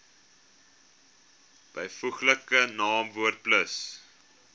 byvoeglike naamwoord plus